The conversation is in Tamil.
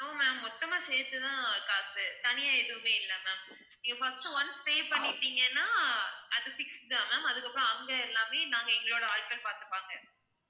no ma'am மொத்தமா சேர்த்து தான் காசு தனியா எதுவுமே இல்லை ma'am இப்ப first once pay பண்ணிட்டீங்கன்னா அது fix தான் ma'am அதுக்கு அப்புறம் அங்க எல்லாமே நாங்க எங்களோட ஆட்கள் பார்த்துப்பாங்க